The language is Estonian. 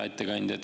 Hea ettekandja!